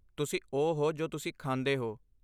ਤੁਸੀਂ ਉਹ ਹੋ ਜੋ ਤੁਸੀਂ ਖਾਂਦੇ ਹੋ।